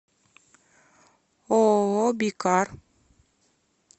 ооо бикар